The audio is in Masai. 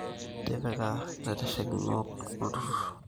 Tipika illaiteshikonok loonturrur